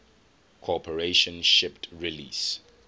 corporation shipped release